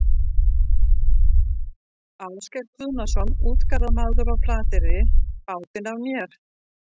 Ásgeir Guðnason, útgerðarmaður á Flateyri, bátinn af mér.